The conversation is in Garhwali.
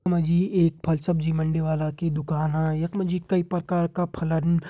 यखमा जी एक फल-सब्जी मंडी वाला की दुकान हं यखमा जी कई प्रकार का फलन --